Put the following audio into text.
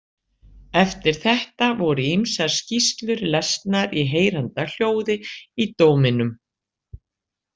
Eftir þetta voru ýmsar skýrslur lesnar í heyranda hljóði í dóminum.